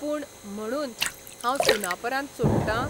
पूण, म्हणून, हांव 'सुनापरान्त 'सोडटां?